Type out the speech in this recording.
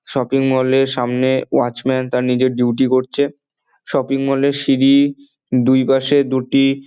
Shopping mall -এর সামনে watchman তার নিজের ডিউটি করছে। শপিং মল -এর সিঁড়ি দুই পাশে দুটি--